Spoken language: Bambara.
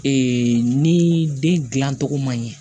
Ee ni den gilan cogo man ɲɛ